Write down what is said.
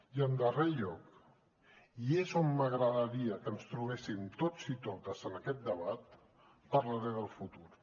i en darrer lloc i és on m’agradaria que ens trobéssim tots i totes en aquest debat parlaré del futur